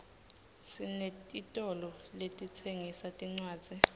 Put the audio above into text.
sinetitolo letitsengisa tincwadzi